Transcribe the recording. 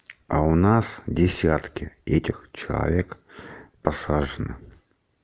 а у нас десятки этих человек посажено